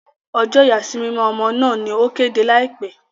Ọjọ ìyàsímímọ ọmọ náà ni o kéde laipẹ